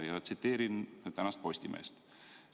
Tsiteerin tänast Postimeest.